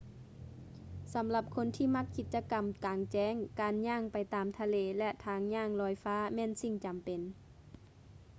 ສຳລັບຄົນທີ່ມັກກິດຈະກຳກາງແຈ້ງ ການຍ່າງໄປຕາມທະເລ ແລະ ທາງຍ່າງລອຍຟ້າແມ່ນສິ່ງຈຳເປັນ